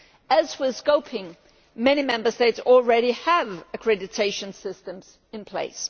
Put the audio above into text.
As with scoping, many Member States already have accreditation systems in place.